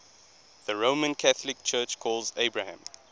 the roman catholic church calls abraham